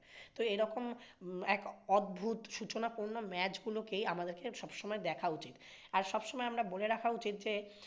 তো এরকম এক অদ্ভুত সুচনাপূর্ণ match গুলোকেই আমাদের কে সবসময় দেখা'উচিত। আর সবসময় আমরা বলে রাখা উচিত যে